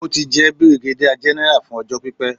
Ó ti jẹ́ bìrìgádíà gẹ́nẹ́rà fún ọjọ́ pípé.